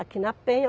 Aqui na Penha.